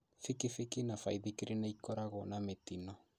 Kibikibi na baithikiri nĩikoragwo na mĩtino